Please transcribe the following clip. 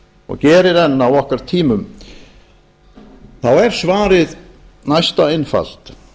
og gerir enn á okkar tímum er svarið næsta einfalt